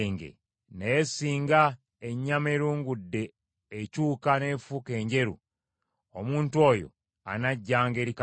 Naye singa ennyama erungudde ekyuka n’efuuka enjeru, omuntu oyo anajjanga eri Kabona.